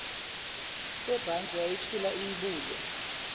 sebhantshi yayithula iyibuke